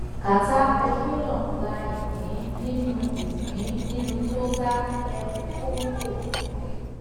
cs] qatar petroleum gba ìpín nínú ìpín nínú total ep congo